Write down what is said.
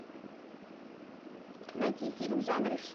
найти фильм в жанре